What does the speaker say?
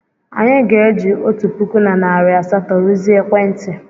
Anyị ga-eji otu puku na narị asatọ rụzie ekwentị.